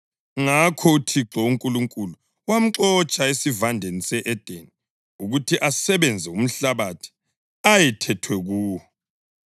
Ngakho uThixo uNkulunkulu wamxotsha eSivandeni se-Edeni ukuthi asebenze umhlabathi ayethethwe kuwo.